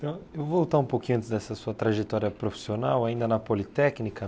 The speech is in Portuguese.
Eu vou voltar um pouquinho antes dessa sua trajetória profissional, ainda na Politécnica.